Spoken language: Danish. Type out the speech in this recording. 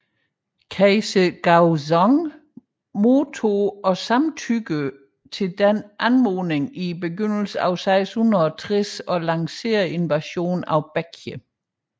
Kejser Gaozong modtog og samtykkede til denne anmodning i begyndelsen af 660 og lancerede invasionen af Baekje